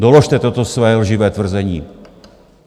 Doložte toto své lživé tvrzení.